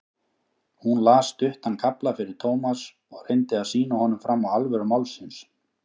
Hún las stuttan kafla fyrir Thomas og reyndi að sýna honum fram á alvöru málsins.